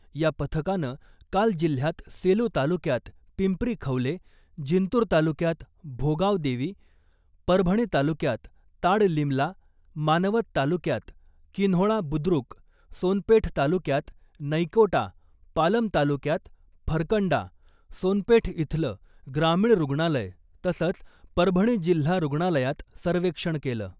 या पथकानं काल जिल्ह्यात सेलू तालुक्यात पिंपरी खवले , जिंतूर तालुक्यात भोगाव देवी , परभणी तालुक्यात ताडलिमला , मानवत तालुक्यात किन्होळा बुद्रुक , सोनपेठ तालुक्यात नैकोटा , पालम तालुक्यात फरकंडा , सोनपेठ इथलं ग्रामीण रुग्णालय तसंच परभणी जिल्हा रुग्णालयात सर्वेक्षण केलं .